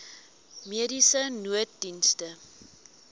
mediese nooddienste